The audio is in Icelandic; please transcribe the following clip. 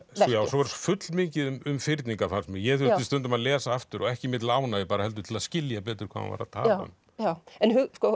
svo er full mikið um fyrningar fannst mér ég þurfti stundum að lesa aftur og ekki mér til ánægju heldur til að skilja betur hvað hann var að tala um en